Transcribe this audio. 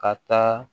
Ka taa